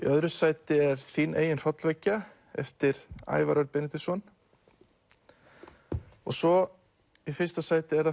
öðru sæti er þín eigin hrollvekja eftir Ævar Þór Benediktsson svo í fyrsta sæti er það